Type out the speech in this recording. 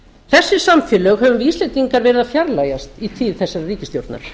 þessi samfélög höfum við íslendingar verið að fjarlægjast í tíð þessarar ríkisstjórnar